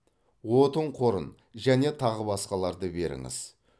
отын қорын және тағы басқаларды беріңіз